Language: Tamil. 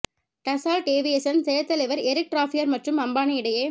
டஸ்ஸால்ட் ஏவியேசன் செயற் தலைவர் எரிக் ட்ராப்பியர் மற்றும் அம்பானி இடையே